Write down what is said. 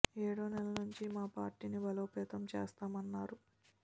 ఏడో నెల నుంచి మా పార్టీ ని బలోపేతం చేస్తాం అన్నారు